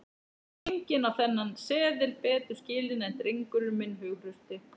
Enginn á þennan seðil betur skilinn en drengurinn minn hughrausti.